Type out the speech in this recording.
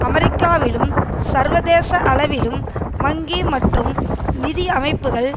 அமெரிக்காவிலும் சர்வதேச அளவிலும் வங்கி மற்றும் நிதி அமைப்புக்கள்